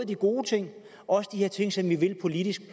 de gode ting og også de her ting som vi vil politisk i